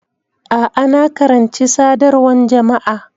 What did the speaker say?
A'a, na karanci Sadarwan Jama'a.